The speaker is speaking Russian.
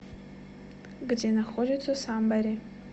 где находится самбери